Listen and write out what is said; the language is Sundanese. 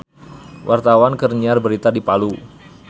Wartawan keur nyiar berita di Palu